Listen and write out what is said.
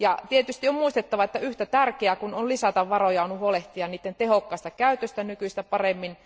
Tietysti on muistettava, että yhtä tärkeää kuin on lisätä varoja on huolehtia niiden tehokkaasta käytöstä nykyistä paremmin.